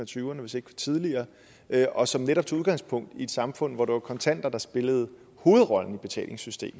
tyverne hvis ikke tidligere og som netop tog udgangspunkt i et samfund hvor det var kontanter der spillede hovedrollen i betalingssystemet